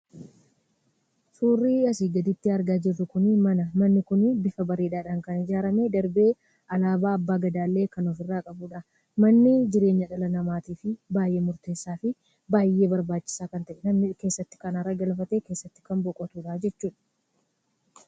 Surri asi gadiitti argaa jiruu kuni, mana. Manni kuni bifa bareedan kan ijaarame, darbee Alabaa Abba Gadaa kan of irra qabudha. Manni jireenya dhalanamatiif baay'ee murtessaafi baay'ee barbachisaa kan ta'edha. Manneen keessatti kan arginuu namni keessatti kan boqotudha jechuudha.